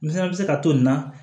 Nin fana bɛ se ka to nin na